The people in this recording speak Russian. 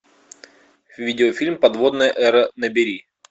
видеофильм подводная эра набери